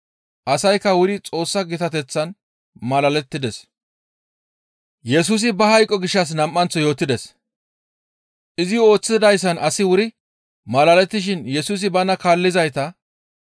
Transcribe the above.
Asaykka wuri Xoossa gitateththan malalettides. Yesusi Ba Hayqo Gishshas Nam7anththo Yootides ( Mato 17:22-23 ; Mar 9:30-32 ) Izi ooththidayssan asay wuri malalettishin Yesusi bana kaallizayta,